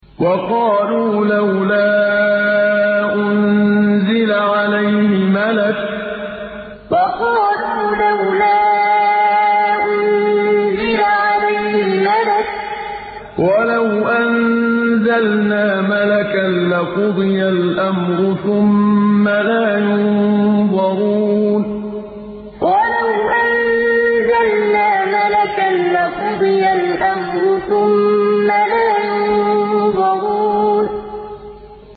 وَقَالُوا لَوْلَا أُنزِلَ عَلَيْهِ مَلَكٌ ۖ وَلَوْ أَنزَلْنَا مَلَكًا لَّقُضِيَ الْأَمْرُ ثُمَّ لَا يُنظَرُونَ وَقَالُوا لَوْلَا أُنزِلَ عَلَيْهِ مَلَكٌ ۖ وَلَوْ أَنزَلْنَا مَلَكًا لَّقُضِيَ الْأَمْرُ ثُمَّ لَا يُنظَرُونَ